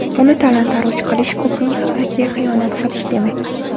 Uni talon-toroj qilish ko‘pning haqiga xiyonat qilish demak!